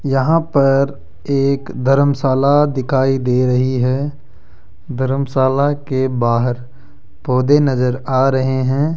यहां पर एक धरमशाला दिखाई दे रही है धरमशाला के बाहर पौधे नजर आ रहे हैं।